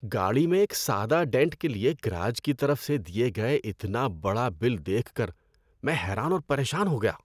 گاڑی میں ایک سادہ ڈینٹ کے لیے گراج کی طرف سے دیے گئے اتنا بڑا بل دیکھ کر میں حیران اور پریشان ہو گیا۔